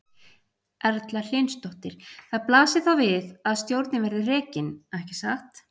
Erla Hlynsdóttir: Það blasir þá við að stjórnin verði rekin, ekki satt?